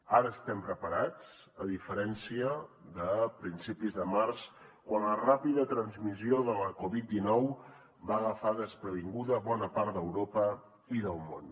ara estem preparats a diferència de principis de març quan la ràpida transmissió de la covid dinou va agafar desprevinguda bona part d’europa i del món